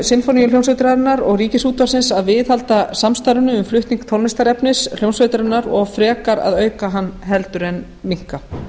sinfóníuhljómsveitarinnar og ríkisútvarpsins að viðhalda samstarfinu um flutning tónlistarefnis hljómsveitarinnar og frekar að auka hann en minnka